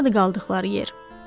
Hardadır qaldıqları yer?